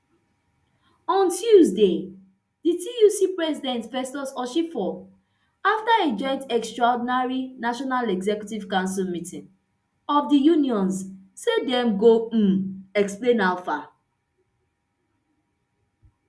on tuesday di tuc president festus osifo afta a joint extraordinary national executive council meeting of di unions say dem go um explain how far